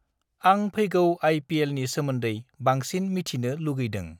आं फैगौ आइ.पि.एल.नि सोमोन्दै बांसिन मिथिनो लुगैदों